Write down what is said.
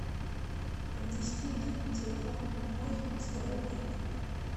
внести на телефон мой сто рублей